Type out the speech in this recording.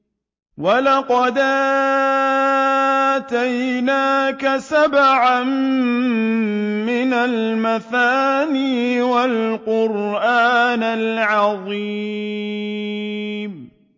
وَلَقَدْ آتَيْنَاكَ سَبْعًا مِّنَ الْمَثَانِي وَالْقُرْآنَ الْعَظِيمَ